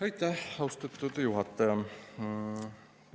Aitäh, austatud juhataja!